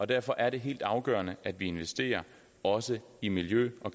derfor er det helt afgørende at vi investerer også i miljø og